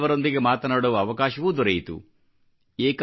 ಅದರಲ್ಲಿ ಕೆಲವರೊಂದಿಗೆ ಮಾತನಾಡುವ ಅವಕಾಶವೂ ದೊರೆಯಿತು